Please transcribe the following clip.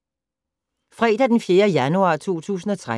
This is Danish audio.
Fredag d. 4. januar 2013